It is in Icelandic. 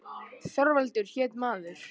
Þorvaldur hét maður.